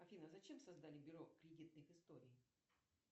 афина зачем создали бюро кредитных историй